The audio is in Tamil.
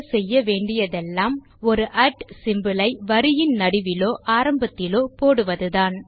செய்ய வேண்டியதெல்லாம் ஒரு சிம்போல் ஐ வரியின் நடுவிலோ ஆரம்பத்திலோ போடுவதுதான்